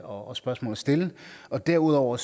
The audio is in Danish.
og spørgsmål at stille derudover